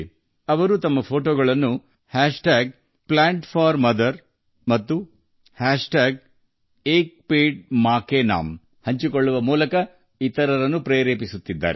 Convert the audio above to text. ಅವರು ತಮ್ಮ ಚಿತ್ರಗಳನ್ನು Plant4Mother ಮತ್ತು Ek Ped Maa Ke Naamನಲ್ಲಿ ಹಂಚಿಕೊಳ್ಳುವ ಮೂಲಕ ಇತರರಿಗೆ ಸ್ಫೂರ್ತಿ ನೀಡುತ್ತಿದ್ದಾರೆ